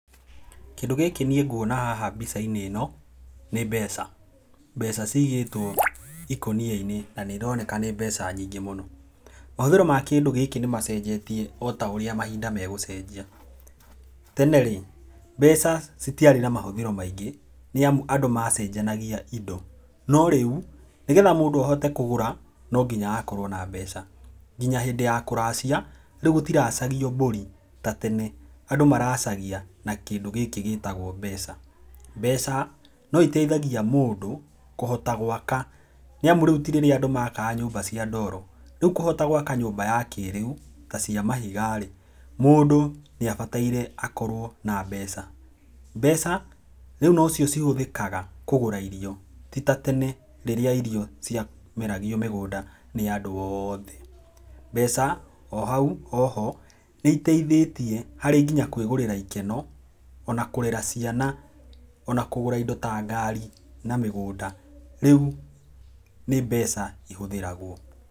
Kĩndũ gĩkĩ niĩ nguona haha mbica-inĩ ĩno nĩ mbeca. Mbeca ciigĩtwo ikũnia-inĩ na nĩ ironeka nĩ mbeca nyingĩ mũno. Mahũthĩro ma kĩndũ gĩkĩ nĩ macenjetie o ta ũrĩa mahinda megũcenjia. Tene rĩ, mbeca citiarĩ na mahũthĩro maingĩ nĩ amu andũ macenjanagia indo. No rĩu nĩgetha mũndũ ahote kũgũra no nginya hakorwo na mbeca. Nginya hĩndĩ ya kũracia rĩu gũtiracagio mbũri ta tene, andũ maracagia na kĩndũ gĩkĩ gĩtagwo mbeca. Mbeca no iteithagia mũndũ kũhota gwaka nĩ amu rĩu ti rĩrĩa andũ maakaga nyũmba cia ndoro, rĩu kũhota gwaka nyũmba ya kĩrĩu ta cia mahiga rĩ, mũndũ nĩ abataire akorwo na mbeca. Mbeca rĩu no cio cihũthĩkaga kũgũra irio, ti ta tene rĩrĩa irio ciameragio mĩgũnda nĩ andũ othe. Mbeca o hau o ho nĩ iteithĩtie harĩ nginya kwĩgũrĩra ikeno, ona kũrera ciana, ona kũgũra indo ta ngari na mĩgũnda. Rĩu nĩ mbeca ihũthĩragwo.